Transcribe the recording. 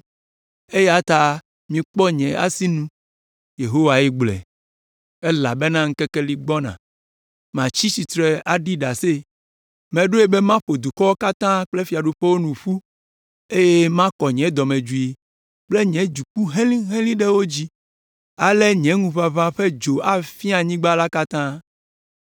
eya ta mikpɔ nye asi nu,” Yehowae gblɔe, “elabena ŋkeke li gbɔna, matsi tsitre aɖi ɖase. Meɖoe be maƒo dukɔwo katã kple fiaɖuƒewo nu ƒu, eye makɔ nye dɔmedzoe kple nye dziku helĩhelĩ ɖe wo dzi. Ale nye ŋuʋaʋã ƒe dzo afia anyigba la katã.